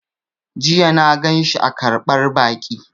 Jiya na ganshi a ƙarɓar baƙi